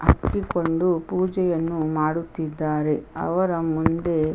ಹಚ್ಚಿಕೊಂಡು ಪೂಜೆಯನ್ನು ಮಾಡುತ್ತಿದ್ದಾರೆ ಅವರ ಮುಂದೆ --